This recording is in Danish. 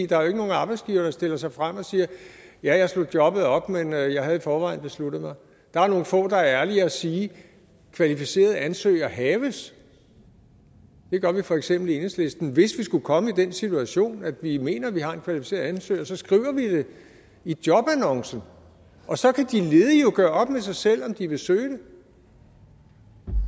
der er jo ikke nogen arbejdsgivere der stiller sig frem og siger ja jeg slog jobbet op men jeg jeg havde i forvejen besluttet mig der er nogle få der er ærlige og siger kvalificeret ansøger haves det gør vi for eksempel i enhedslisten hvis vi skulle komme i den situation at vi mener at vi har en kvalificeret ansøger så skriver vi det i jobannoncen og så kan de ledige jo gøre op med sig selv om de vil søge det